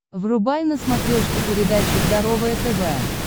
врубай на смотрешке передачу здоровое тв